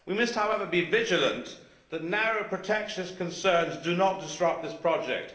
We must, however, be vigilant that narrow protectionist concerns do not disrupt this project.